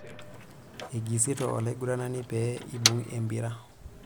Eigisito olaiguranani pee ebung' empira.